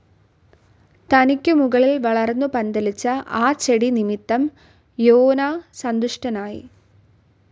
തനിക്കു മുകളിൽ വളർന്നു പന്തലിച്ച ആ ചെടി നിമിത്തം യോനാ സന്തുഷ്ടനായി.